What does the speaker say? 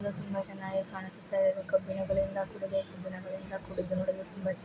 ಇದು ತುಂಬಾ ಚೆನ್ನಾಗಿ ಕಾಣಿಸುತ್ತಿದೆ ಇದು ಕಬ್ಬಿಣಗಳಿಂದ ಕೂಡಿದೆ ಬ್ಬಿಣಗಳಿಂದ ಕೂಡಿದೆ ನೋಡಲು ತುಂಬಾ ಚೆನ್ನಾ--.